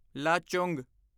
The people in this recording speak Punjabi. ਲਾਚੁੰਗ